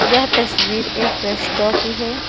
यह तस्वीर एक रेस्टो की है।